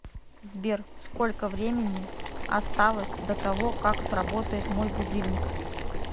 сбер сколько времени осталось до того как сработает мой будильник